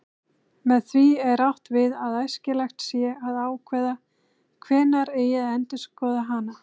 Með því er átt við að æskilegt sé að ákveða hvenær eigi að endurskoða hana.